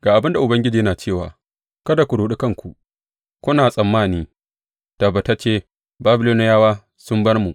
Ga abin da Ubangiji yana cewa, kada ku ruɗe kanku, kuna tsammani, Tabbatacce Babiloniyawa sun bar mu.’